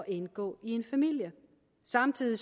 indgå i en familie samtidig